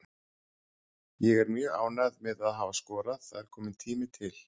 Ég er mjög ánægð með að hafa skorað, það er kominn tími til.